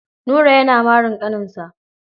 Nura yana marin ƙaninsa.